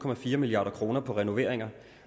milliard kroner på renoveringer